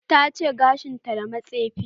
Ta tace gashin ta da matsefi